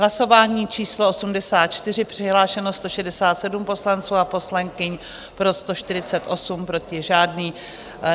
Hlasování číslo 84, přihlášeno 167 poslanců a poslankyň, pro 148, proti žádný.